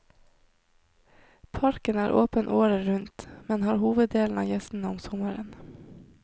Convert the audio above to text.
Parken er åpen året rundt, men har hoveddelen av gjestene om sommeren.